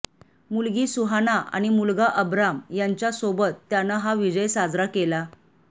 मुलगी सुहाना आणि मुलगा अबराम यांच्यासोबत त्यानं हा विजय साजरा केला